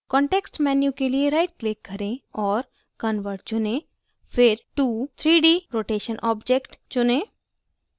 context menu के लिए right click करें और convert चुनें फिर to 3d rotation object चुनें